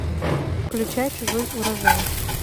включай чужой урожай